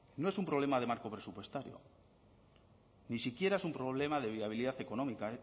no es un problema del marco presupuestario ni siquiera es un problema de viabilidad económica